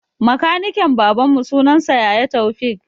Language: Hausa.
Makaniken baban mu sunan sa yaya Toufik